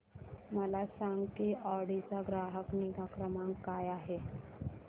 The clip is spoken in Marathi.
मला सांग की ऑडी चा ग्राहक निगा क्रमांक काय आहे